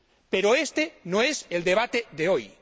Pero este no es el debate de hoy.